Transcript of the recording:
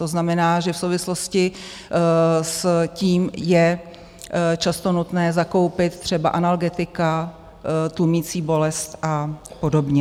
To znamená, že v souvislosti s tím je často nutné zakoupit třeba analgetika tlumící bolest a podobně.